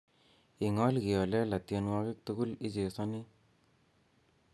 ing'ol kiholela tienwogik tugul ichezoni